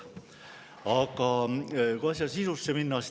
Aga läheme asja sisusse.